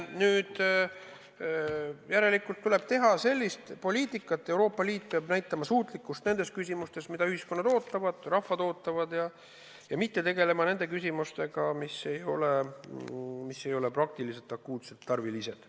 Nüüd järelikult tuleb teha sellist poliitikat, Euroopa Liit peab näitama suutlikkust nendes küsimustes, mida ühiskonnad ootavad, rahvad ootavad, ja mitte tegelema nende küsimustega, mis ei ole praktiliselt akuutsed, tarvilised.